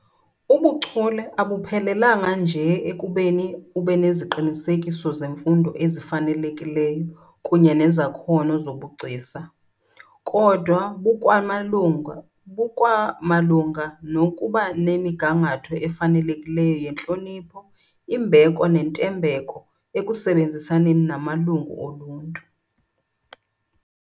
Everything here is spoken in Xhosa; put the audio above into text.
Ubuchule abuphelelanga nje ekubeni ubeneziqinisekiso zemfundo ezifanelekileyo kunye nezakhono zobugcisa, kodwa bukwamalunga nokubanemigangatho efanelekileyo yentlonipho, imbeko nentembeko ekusebenzisaneni namalungu oluntu.